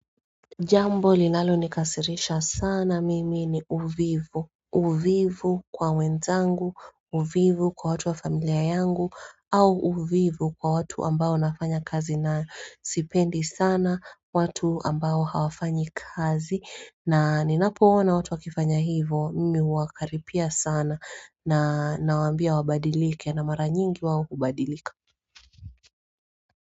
Jambo linalo nikasirisha sana mimi ni uvivu uvivu kwa wenzangu uvivu kwa watu wa familia yangu au uvivu kwa watu ambao nafanya kazi na sipendi sana watu ambao hawafanyi kazi na ninapoona watu wakifanya hivo mimi huwakaripia sana na nawambia wabadilike na mara nyingi wao hubadilika.